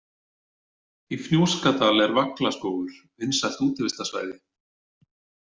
Í Fnjóskadal er Vaglaskógur, vinsælt útivistarsvæði.